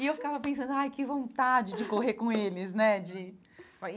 E eu ficava pensando, ai, que vontade de correr com eles, né? de